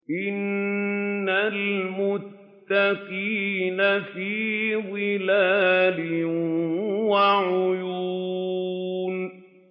إِنَّ الْمُتَّقِينَ فِي ظِلَالٍ وَعُيُونٍ